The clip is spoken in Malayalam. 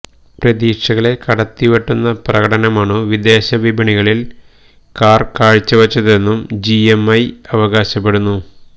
പ്രതീക്ഷകളെ കടത്തിവെട്ടുന്ന പ്രകടനമാണു വിദേശ വിപണികളിൽ കാർ കാഴ്ചവച്ചതെന്നും ജി എം ഐ അവകാശപ്പെടുന്നു